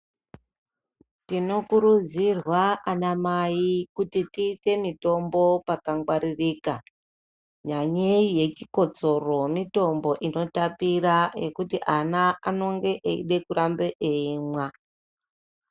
Tinokurudzirwa anamai kuti tiise mitombo pakangwaririka. Nyanyei yechikotsoro mitombo inotapira kuti ana anonge eida kurambe eimwa.